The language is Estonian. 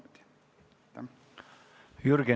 Jürgen Ligi, palun!